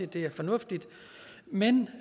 det er fornuftigt men